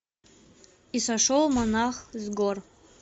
и сошел монах с гор